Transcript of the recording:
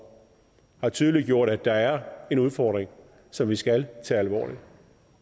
tydeliggjort at der er en udfordring som vi skal tage alvorligt